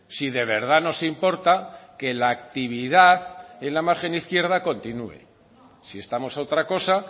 si de verdad nos importa que la actividad en la margen izquierda continúe si estamos a otra cosa